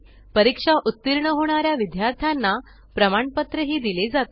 परीक्षा उत्तीर्ण होणाऱ्या विद्यार्थ्यांना प्रमाणपत्र दिले जाते